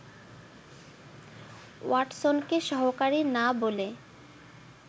ওয়াটসনকে ‘সহকারী’ না বলে